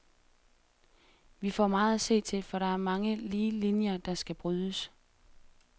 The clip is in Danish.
Vi får meget at se til, for der er mange lige linjer, der skal brydes.